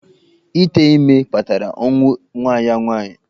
Ítè ímé kpatara ọnwụ nwa ya nwaanyị.